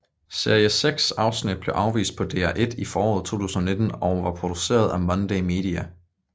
Series seks afsnit blev vist på DR1 i foråret 2019 og var produceret af Monday Media